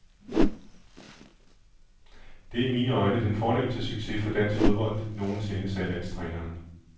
Det er i mine øjne den fornemste succes for dansk fodbold nogen sinde, sagde landstræneren.